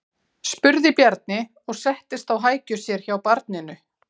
spurði Bjarni og settist á hækjur sér hjá barninu.